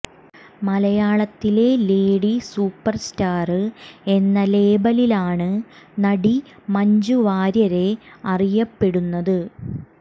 മലയാളത്തിലെ lady superstar എന്ന ലേബലിലാണ് നടി മഞ്ജു വാര്യരെ അറിയപ്പെടുന്നത്